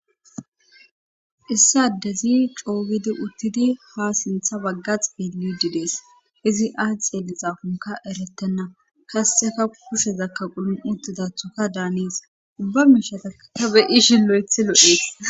Issa dezi coobidi uttidi ha sintha baggax bilyudi dees izi aas xeeli xaafunka erettenna kasseka kushezakka qulo7utudathuka daanees ubba miishataka beyi shin lo7ethi lo7ees.